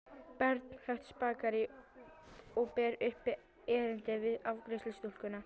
Bernhöftsbakaríi og ber upp erindið við afgreiðslustúlkuna.